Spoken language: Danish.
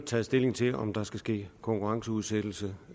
taget stilling til om der skal ske konkurrenceudsættelse